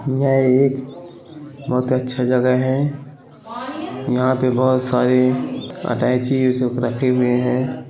यह एक बहुत अच्छी जगह है यहाँ पे बहुत सारे अटैची रखे हुए है।